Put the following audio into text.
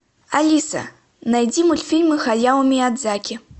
алиса найди мультфильмы хаяо миядзаки